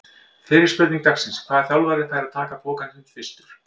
Fyrri spurning dagsins: Hvaða þjálfari fær að taka pokann sinn fyrstur?